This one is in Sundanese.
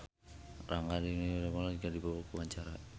Rangga Dewamoela olohok ningali Dido keur diwawancara